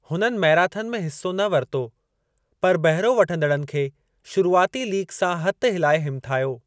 हुननि मैराथन में हिस्सो न वरितो , पर बहिरो वठंदड़नि खे शुरुआती लीकु सां हथ हिलाए हिमथायो।